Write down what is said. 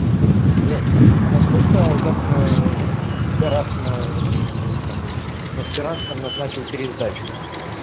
блядь а на сколько завтра пидорас на этом вот на сперанском назначил пересдачу